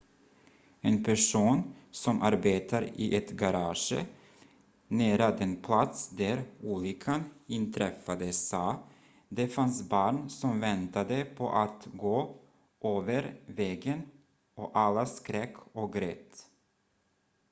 "en person som arbetar i ett garage nära den plats där olyckan inträffade sa: "det fanns barn som väntade på att gå över vägen och alla skrek och grät.""